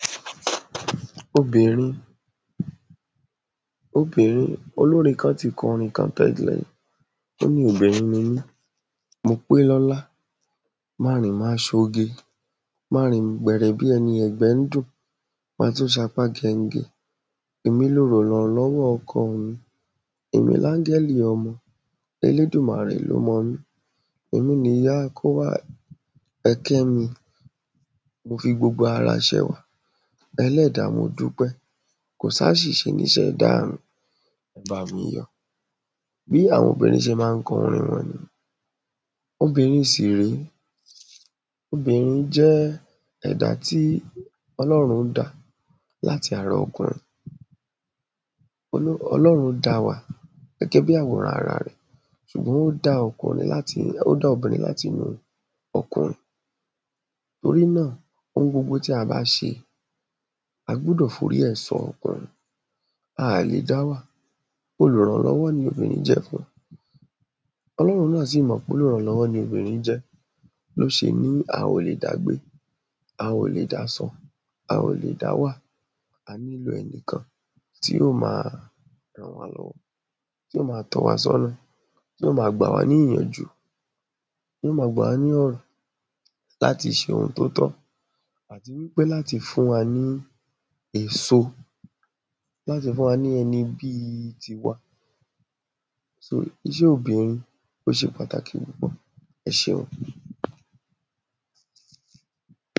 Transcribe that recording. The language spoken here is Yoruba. obìnrin. obìnrin olórin kan ti kọrin kan tẹ́lẹ̀, óní obìnrin ni mí, mo pé lọ́lá, ma rìn ma ṣoge, ma rìn gbẹ̀rẹ̀ bí ẹni ẹ̀gbẹ́ ń dùn, ma tún ṣapá gẹngẹ, èmi lolùrànlọ́wọ́ ọkọọ̀ mi, èmi lágẹ́lì ọmọ, elédùmàrè ló mọ mí, èmi níyá akówá ẹkẹ́ mi, mo fi gbogbo ara ṣẹwà ẹlẹ́dá mo dúpẹ́, kòsáṣìṣe ní iṣẹ̀dá mi, ẹ bámi yọ̀. bí àwọn obìnrin ṣe ma ń kọrin wọn ni. obìnrin sì ré, obìnrin jẹ́ ẹ̀dá tí ọlọ́rún dá láti ara okùnrin. olo, ọlọ́run da wa gẹ́gẹ́bí àworán ara rẹ̀ ṣùgbọ́n ó dá okùnrin láti, ó dá obìnrin látinú okùrin. torí náà, ohun gbogbo tí a bá ṣe, a gbúdọ̀ forí ẹ̀ sọ okùnrin, a à lè dá wà, olùrànlọ́wọ́ ni obìnrín jẹ́ fun. ọlọ́run náà sì mọ̀ pólùrànlọ́wọ́ ni obìnrín jẹ́ ló ṣe ní a ò lè dá gbé, a ò lè dá sùn, a ò lè dá wà, a nílò ẹnìkan tí ó ma ràn wá lọ́wọ́. tí ó ma tọ́ wa sọ́nà, tí ó ma gbàwá ní ìyànjú, tí ó ma gbàwá ní ọ̀nà láti ṣe ohun tó tọ́. àti wípé láti fún wa ní èso, láti fún wa ní ẹni bíi tiwa. sóò ó, iṣẹ́ obìnrin, ó ṣe pàtàkì púpọ̀. ẹ ṣeun.